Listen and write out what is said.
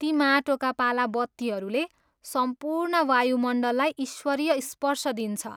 ती माटोका पाला बत्तीहरूले सम्पूर्ण वायुमण्डललाई ईश्वरीय स्पर्श दिन्छ।